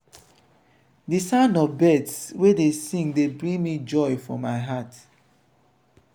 di sound of birds wey dey sing dey bring joy for my heart.